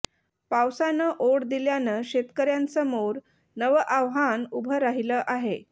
पावसानं ओढ दिल्यानं शेतकऱ्यांसमोर नवं आव्हान उभं राहिलं आहे